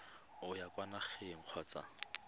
o ya kwa nageng kgotsa